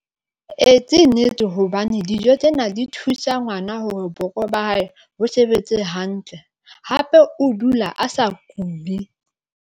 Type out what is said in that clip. Ee, ke nnete hobane dijo tsena di thusa ngwana hore boko ba hae bo sebetse hantle hape o dula a sa kule.